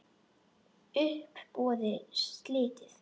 Uppboði slitið.